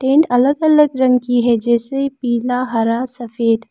Tent अलग अलग रंग की है जैसे पीला हरा सफेद।